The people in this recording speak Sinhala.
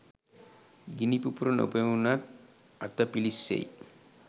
ගිනි පුපුර නොපෙනුනත් අත පිළිස්සෙයි.